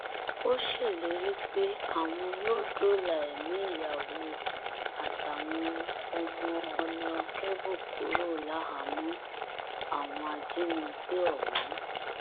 ó ṣèlérí pé àwọn yóò dóòlà ẹmí ìyàwó àtàwọn ọmọ honakébù kúrò láhàámọ àwọn ajínigbé ọhún